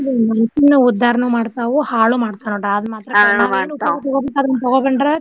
ಉದ್ದಾರನು ಮಾಡ್ತಾವು ಹಾಳು ಮಾಡ್ತಾವು ನೋಡ್ರಿ ಆದ ಮಾತ್ರ .